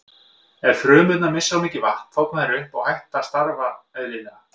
Ef frumurnar missa of mikið vatn þorna þær upp og hætt að starfa eðlilega.